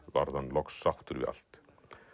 varð hann loks sáttur við allt